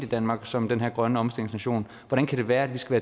i danmark som den her grøn omstillings nation hvordan kan det være at vi skal